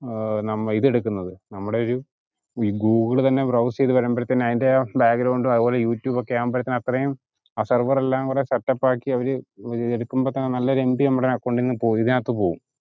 ആഹ് നമ ഏർ ഇതെടുക്കുന്നത് നമ്മടെ ഒരു ഗൂഗിൾ തന്നെ browse ചെയ്‌ത്‌ വരുമ്പോഴത്തേനും അയിന്റെ ആ ഉ അതുപോലെ യൂട്യൂബൊക്കെ ആമ്പോക്കും അത്രേം ആ server എല്ലാം കൂടെ setup ആക്കി അവര് ഏർ എടുക്കുമ്പത്തേനും നല്ലൊരു mb നമ്മടെ account ന്ന് പോവൂ ഏർ ഇതിനത് പോവും